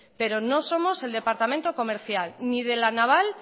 pero no somos el departamento comercial ni de la naval